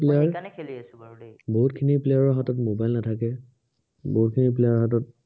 বহুতখিনি player ৰ হাতত mobile নাথাকে বহুতখিনি player ৰ হাতত